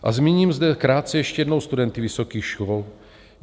A zmíním zde krátce ještě jednou studenty vysokých škol.